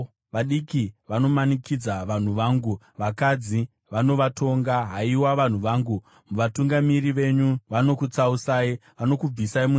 Vadiki vanomanikidza vanhu vangu, vakadzi vanovatonga. Haiwa, vanhu vangu, vatungamiri venyu vanokutsausai; vanokubvisai munzira.